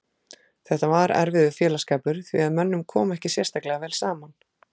Þetta var erfiður félagsskapur því að mönnum kom ekki sérstaklega vel saman.